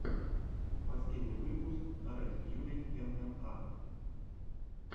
последний выпуск ред фьюри эмэма